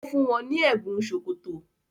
O fún wón ní Ẹbùn sókótó.